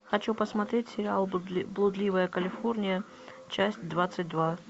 хочу посмотреть сериал блудливая калифорния часть двадцать два